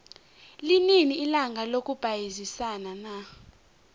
linini ilanga lokubayisana na